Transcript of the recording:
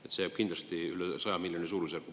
See jääb kindlasti üle 100 miljoni suurusjärku.